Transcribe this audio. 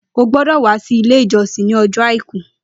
Ó gbọdọ wà si ilé ijọsin ni ọjọ áikù